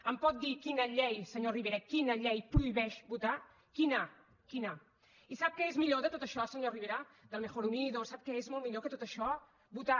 em pot dir quina llei senyor rivera quina llei prohibeix votar quina quina i sap què és millor que tot això senyor rivera del mejor unidos sap què és molt millor que tot això votar